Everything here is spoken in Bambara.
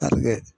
A bɛ kɛ